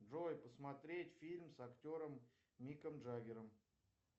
джой посмотреть фильм с актером миком джаггером